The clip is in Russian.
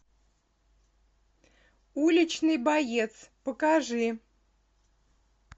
уличный боец покажи